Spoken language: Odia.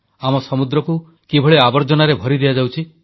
ଆମ ସମୁଦ୍ରକୁ କିଭଳି ଆବର୍ଜନାରେ ଭରି ଦିଆଯାଉଛି